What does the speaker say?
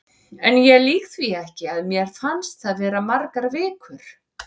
En ég lýg því ekki, að mér fannst það vera margar vikur.